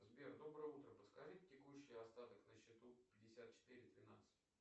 сбер доброе утро подскажите текущий остаток на счету пятьдесят четыре тринадцать